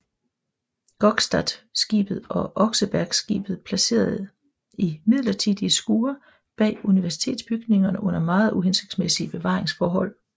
Gokstadskibet og Osebergskibet placeret i midlertidige skure bag Universitetsbygningerne under meget uhensigtsmæssige bevaringsforhold